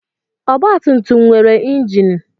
Ọgbatumtum nwere injin.